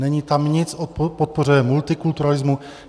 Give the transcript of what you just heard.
Není tam nic o podpoře multikulturalismu.